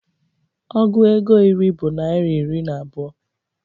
Ọgụ égo iri bụ naira iri na abụọ